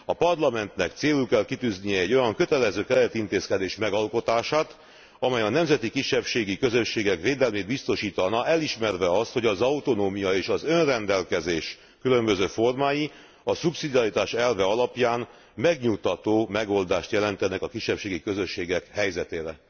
A Parlamentnek célul kell kitűznie egy olyan kötelező keretintézkedés megalkotását, amely a nemzeti kisebbségi közösségek védelmét biztosítaná, elismerve azt, hogy az autonómia és az önrendelkezés különböző formái, a szubszidiaritás elve alapján megnyugtató megoldást jelentenek a kisebbségi közösségek helyzetére.